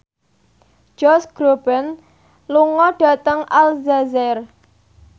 Josh Groban lunga dhateng Aljazair